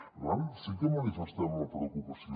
per tant sí que manifestem la preocupació